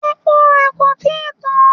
Epo rẹ kò tí ì tán.